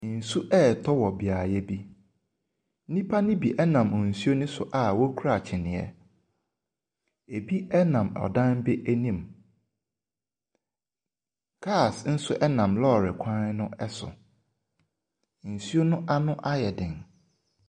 Nsu retɔ wɔ beaeɛ bi. Nnipa no bi nam nsu ne so a wɔkura kyiniiɛ. Ebi nam adan no anim. Cars nso nam lɔɔre kwan no so. Nsuo no ano ayɛ den.